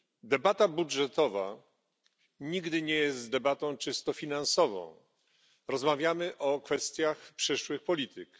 Debata budżetowa nigdy nie jest debatą czysto finansową, rozmawiamy bowiem o kwestiach przyszłych polityk.